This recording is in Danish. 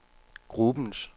gruppens